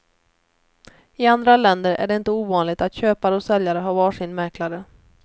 I andra länder är det inte ovanligt att köpare och säljare har var sin mäklare.